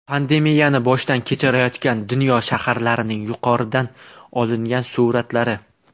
Pandemiyani boshdan kechirayotgan dunyo shaharlarining yuqoridan olingan suratlari.